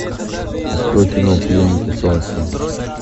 открой кино пленники солнца